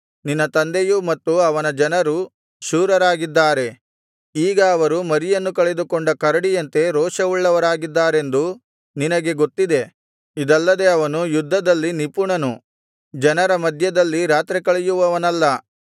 ನಿನ್ನ ತಂದೆಯೂ ಮತ್ತು ಅವನ ಜನರೂ ಶೂರರಾಗಿದ್ದಾರೆ ಈಗ ಅವರು ಮರಿಯನ್ನು ಕಳೆದುಕೊಂಡ ಕರಡಿಯಂತೆ ರೋಷವುಳ್ಳವರಾಗಿದ್ದಾರೆಂದು ನಿನಗೆ ಗೊತ್ತಿದೆ ಇದಲ್ಲದೆ ಅವನು ಯುದ್ಧದಲ್ಲಿ ನಿಪುಣನು ಜನರ ಮಧ್ಯದಲ್ಲಿ ರಾತ್ರಿ ಕಳೆಯುವವನಲ್ಲ